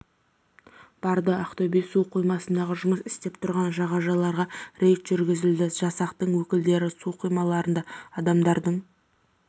барды ақтөбе су қоймасындағы жұмыс істеп тұрған жағажайларға рейд жүргізілді жасақтың өкілдері су қоймаларында адамдардың